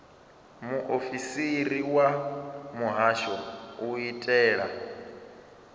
muofisiri wa muhasho u itela